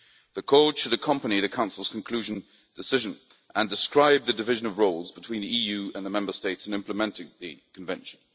The Code should accompany the Council's conclusion decision and describe the division of roles between the EU and the Member States in implementing the Convention.